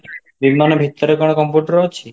ବିମାନ ଭିତରେ କ'ଣ computer ଅଛି?